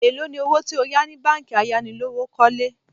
Èló ni owó tí o yà ni báńkì ayánilówókọ́lé?